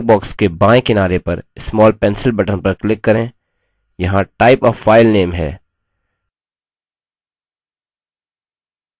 अतः dialog box के बायें किनारे पर small pencil button पर click करें यहाँ type a file name है